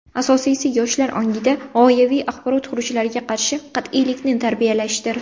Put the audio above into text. Asosiysi yoshlar ongida g‘oyaviy axborot xurujlariga qarshi qat’iylikni tarbiyalashdir.